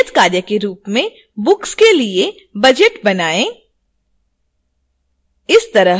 नियतकार्य के रूप में books के लिए budget बनाएँ